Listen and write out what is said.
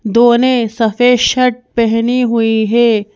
दो ने सफेद शर्ट पहनी हुई है।